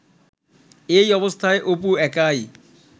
এ অবস্থায় অপু একাই